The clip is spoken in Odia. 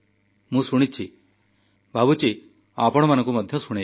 ମୁଁ ଶୁଣିଛି ଭାବୁଛି ଆପଣମାନଙ୍କୁ ମଧ୍ୟ ଶୁଣେଇବି